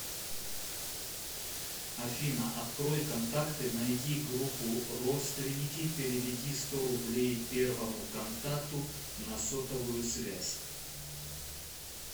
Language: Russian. афина открой контакты найди группу родственники переведи сто рублей первому контакту на сотовую связь